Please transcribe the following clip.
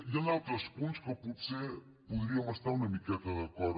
hi han altres punts que potser hi podríem estar una miqueta d’acord